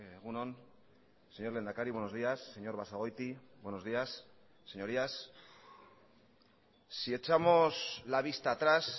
egun on señor lehendakari buenos días señor basagoiti buenos días señorías si echamos la vista atrás